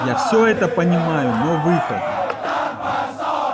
я всё это понимаю но выход